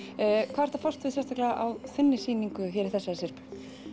hvað ertu að fást við sérstaklega á þinni sýningu hérna í þessari syrpu